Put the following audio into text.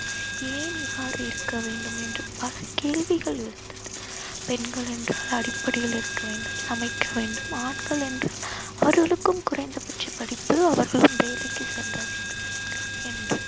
ஏன் இவ்வாறு இருக்க வேண்டும் என்று பல கேள்விகள் எழுந்தது. பெண்களென்றால் அடுப்படியில் இருக்க வேண்டும் சமைக்க வேண்டும். ஆண்களென்றால் அவர்களுக்கும் குறைந்த பட்ச படிப்பு அவர்களும் வேலைக்கு செல்ல வேண்டும் என்று.